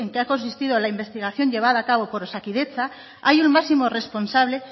ha consistido la investigación llevada a cabo por osakidetza hay un máximo responsable